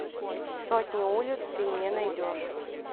сотни улиц ты мне найдешь